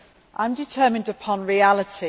I am determined upon reality.